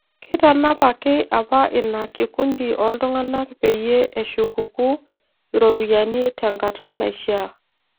Keitanapaki apa ina kikundi oltung'anak peyie eshukuku iropiyiani te nkata naishaa